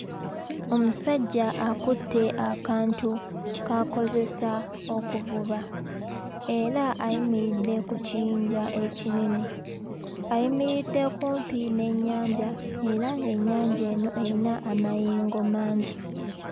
Omusajja akutte akantu k'akozesa okuvuba era ayimiridde ku kiyinja ekinene ayimiridde kumpi n'ennyanja era ennyanja eno eyina amayengo mangi.